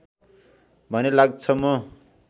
भने लाग्छ म